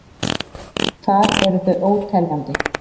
Þar eru þau óteljandi.